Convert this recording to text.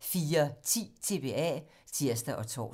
02:00: TBA 04:10: TBA (tir og tor)